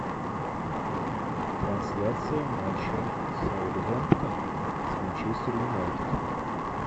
трансляция матча саутгемптон с манчестер юнайтед